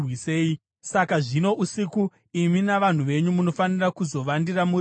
Saka zvino, usiku, imi navanhu venyu munofanira kuzovandira muri muminda.